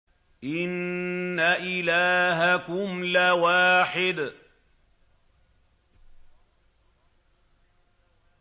إِنَّ إِلَٰهَكُمْ لَوَاحِدٌ